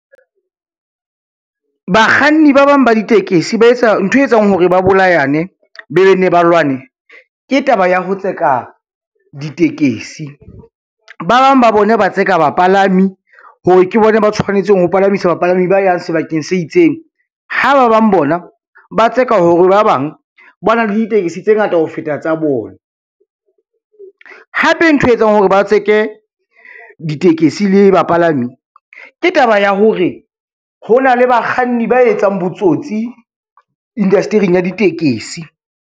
Bakganni ba bang ba ditekesi ntho e etsang hore ba bolayane be be nne ba lwane, ke taba ya ho tseka ditekesi. Ba bang ba bona ba tseka bapalami hore ke bona ba tshwanetseng ho palamisa bapalami ba yang sebakeng se itseng, ha ba bang bona ba tseka hore ba bang ba na le ditekesi tse ngata ho feta tsa bona. Hape ntho e etsang hore ba tseke ditekesi le bapalami ke taba ya hore, ho na le bakganni ba etsang botsotsi indasetering ya ditekesi.